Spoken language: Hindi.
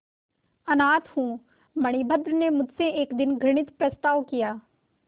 अनाथ हूँ मणिभद्र ने मुझसे एक दिन घृणित प्रस्ताव किया